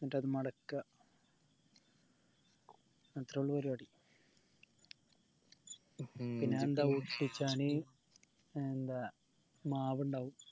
എന്നിട്ടത് മടക്ക അത്രൊള്ളൂ പരിവാടി എന്താ മാവ് ഇണ്ടാവു